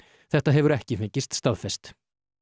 þetta hefur ekki fengist staðfest